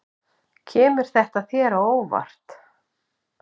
Kemur þetta þér á óvart?